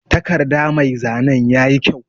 Takarɗa mai zanen yaƴi kƴau.